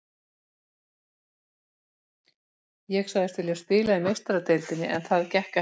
Ég sagðist vilja spila í Meistaradeildinni en það gekk ekki.